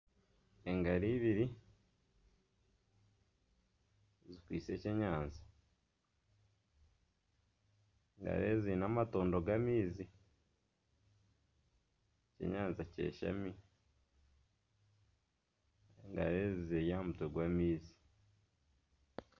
Engaro ibiri zikwaitse ekyenyanja. Engaro ezi ziine amatondo g'amaizi. Ekyenyanja kyashami. Engaro ezi ziri aha mutwe gw'amaizi.